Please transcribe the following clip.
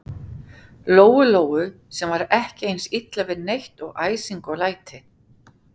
Lóu-Lóu, sem var ekki eins illa við neitt og æsing og læti.